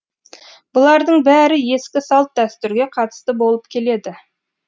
бұлардың бәрі ескі салт дәстүрге қатысты болып келеді